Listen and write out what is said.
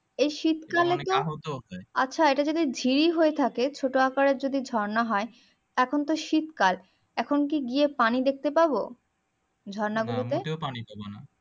এই শীতকালে আচ্ছা এটা যদি ঝিল হয়ে থাকে ছোট আকারের যদি ঝর্ণা হয় এখন তো শীতকাল এখন কি গিয়ে পানি দেখতে পাবো ঝর্ণা গুলো তে